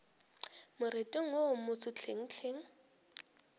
moriting wo wo moso hlenghleng